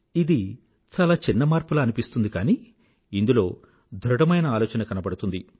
ఇది చాలా చిన్న మార్పులా అనిపిస్తుంది కానీ ఇందులో ఒక ధృఢమైన ఆలోచన కనబడుతుంది